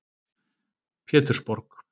Pétursborg